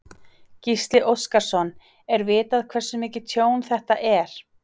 Gísli Óskarsson: Er vitað hversu mikið tjón þetta er?